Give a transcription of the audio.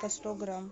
по сто грамм